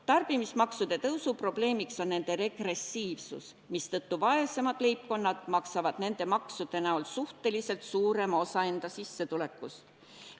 Tarbimismaksude tõusu probleem on nende regressiivsus, mistõttu vaesemad leibkonnad maksavad nende maksude näol suhteliselt suurema osa enda sissetulekust.